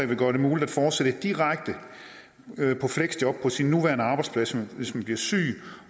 vil gøre det muligt at fortsætte direkte på fleksjob på sin nuværende arbejdsplads hvis man bliver syg